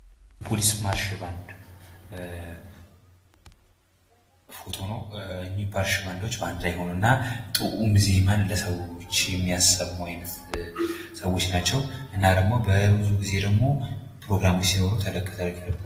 የፖሊስ ማርሽ ባንድ ፎቶ ነው ።ማርሽ ባንዶች አንድ ላይ ይሆኑና ዜማን ለሰዎች የሚያሰሙ ናቸው። ብዙ ጊዜ ተለቅ ተለቅ ያሉ ፕሮግራሞች ሲኖሩ።